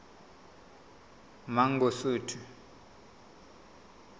mangosuthu